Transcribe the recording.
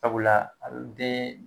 Sabula a be den